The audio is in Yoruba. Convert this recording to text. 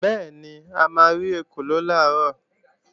Bẹ́ẹ̀ni, a máa rí ekòló làárọ̀